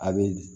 A bɛ